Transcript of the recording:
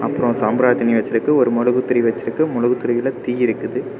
அப்புறம் ஒரு சாம்ராத்தினி வெச்சிருக்க ஒரு மொழுக்கு திரி வெச்சி இருக்கு மொழுக்கு திரியில தீ இருக்குது.